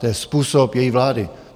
To je způsob její vlády.